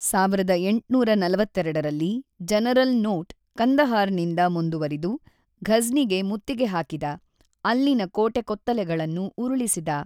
೧೮೪೨ರಲ್ಲಿ general Nott Kandahar ನಿಂದ ಮುಂದುವರಿದು ಘಝ್ನಿಗೆ ಮುತ್ತಿಗೆ ಹಾಕಿದ ಅಲ್ಲಿನ ಕೋಟೆ ಕೊತ್ತಲೆಗಳನ್ನು ಉರುಳಿಸಿದ.